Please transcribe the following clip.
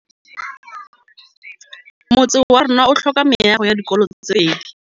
Motse warona o tlhoka meago ya dikolô tse pedi.